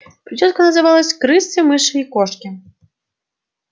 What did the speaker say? причёска называлась крысы мыши и кошки